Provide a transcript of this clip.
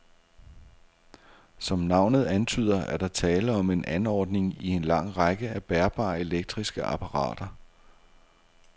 Som navnet antyder, er der tale om en anordning i en lang række af bærbare elektriske apparater.